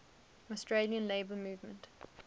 australian labour movement